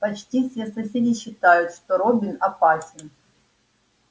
почти все соседи считают что робби опасен